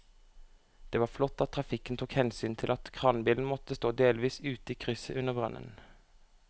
Det var flott at trafikken tok hensyn til at kranbilen måtte stå delvis ute i krysset under brannen.